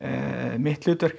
mitt hlutverk